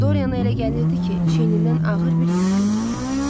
Doriana elə gəlirdi ki, çiynindən ağır bir yük götürülüb.